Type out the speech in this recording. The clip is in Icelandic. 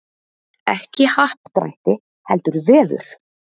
Ekki happdrætti heldur vefur